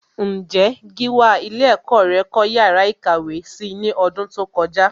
Ǹjé Gíwá ilé ẹ̀kọ́ rẹ kọ́ yàrá ìkàwé si ní ọdún tó kọjá?